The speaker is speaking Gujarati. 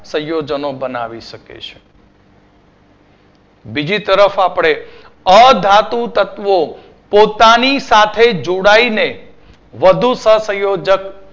સંયોજનો બનાવી શકે છે. બીજી તરફ આપણે અધાતુ તત્વો પોતાની સાથે જોડાઈને વધુ સહસંયોજક